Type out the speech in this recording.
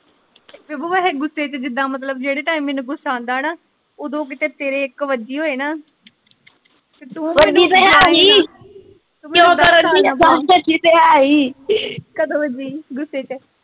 ਪ੍ਰਬੁ ਵੈਸੇ ਗੁਸੇ ਜਿਦਾ ਮਤਲਬ ਜੇੜੇ ਟਾਈਮ ਮੈਨੂੰ ਗੁਸਾ ਆਉਂਦਾ ਨਾ ਓਦੋ ਕੀਤੇ ਤੇਰੇ ਇਕ ਵਜੀ ਹੋਵੇ ਤੇ ਤੂ ਵਜੀ ਤੇ ਹੈ ਹੀ ਕਿ ਕਰਨ ਦੀ ਕਦੋ ਵਜੀ ਗੁਸੇ ਚ?